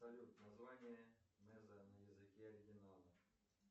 салют название неза на языке оригинала